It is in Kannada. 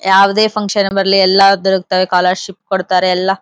ಯಾವದೇ ಫ್ಯಾಂಕ್ಷನ್ ಬರ್ಲಿ ಎಲ್ಲ ಸ್ಕಾಲರ್ ಶಿಪ್ ಕೊಡತ್ತಾರೆ ಎಲ್ಲ.--